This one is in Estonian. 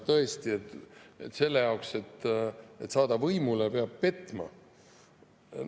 Tõesti, selle jaoks, et saada võimule, peab petma.